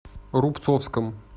рубцовском